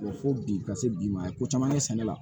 Fo bi ka se bi ma ye ko caman ye sɛnɛ la